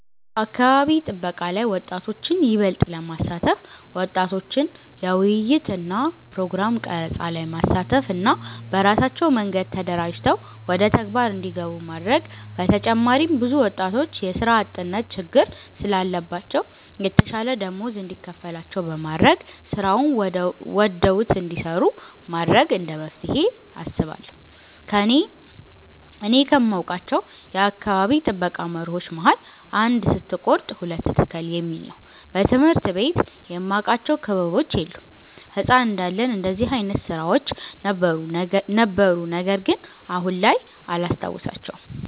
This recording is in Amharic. በአካባቢ ጥበቃ ላይ ወጣቶችን ይበልጥ ለማሳተፍ ወጣቶችን ለውይይት እና ፕሮግራም ቀረፃ ላይ ማሳተፍ እና በራሳቸው መንገድ ተደራጅተው ወደተግባር እንዲገቡ ማድረግ በተጨማሪም ብዙ ወጣቶች የስራ አጥነት ችግር ስላለባቸው የተሻለ ደመወዝ እንዲከፈላቸው በማድረግ ስራውን ወደውት እንዲሰሩት ማድረግ እንደመፍትሄ አስባለሁ። እኔ ከማውቃቸው የአካባቢ ጥበቃ መርሆች መሀል "አንድ ስትቆርጥ ሁለት ትክል "የሚል ነው። በትምህርት ቤት የማቃቸው ክበቦች የሉም። ህፃን እንዳለን እንደዚህ አይነት ስራዎች ነበሩ ነገርግን አሁን ላይ አላስታውሳቸውም።